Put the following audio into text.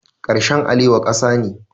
Karshen alewa ƙasa ne.